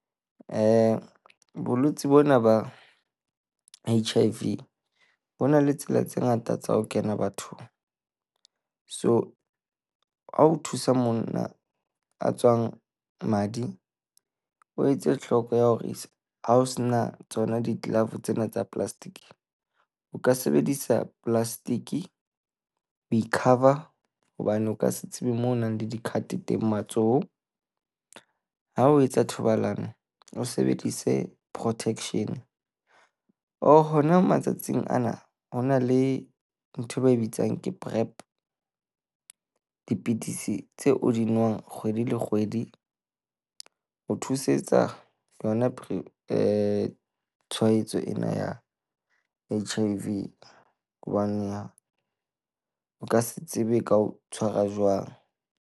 Bolwetsi bona ba H_I_V ho na le tsela tse ngata tsa ho kena bathong. So ha o thusa monna a tswang madi, o etse tlhoko ya hore ha o se na tsona di-glove tsena tsa plastic, o ka sebedisa plastic ho e-cover hobane o ka se tsebe mo ho nang le di-cut teng matsoho. Ha o etsa thobalano, o sebedise protection or hona matsatsing ana ho na le nthwe ba e bitsang ke Prep. Dipidisi tse o di nwang kgwedi le kgwedi ho thusetsa yona Prep tshwaetso ena ya H_I_V hobane o ka se tsebe e ka o tshwara jwang.